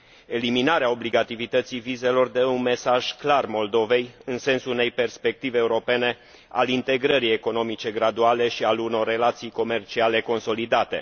Eliminarea obligativității vizelor dă un mesaj clar Moldovei, în sensul unei perspective europene, al integrării economice graduale și al unor relații comerciale consolidate.